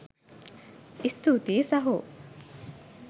ස්තුතියි සහෝ